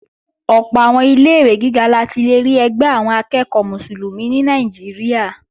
Ọ̀pọ̀ àwọn ilé-ìwé gíga la ti lè rí ẹgbẹ́ àwọn akẹ́ẹ̀kọ́ Mùsùlùmí ní Nàìjíríà